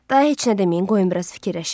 Daha heç nə deməyin, qoyun biraz fikirləşim.